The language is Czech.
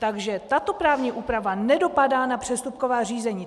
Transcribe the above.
Takže tato právní úprava nedopadá na přestupková řízení.